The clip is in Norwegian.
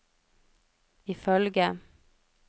ifølge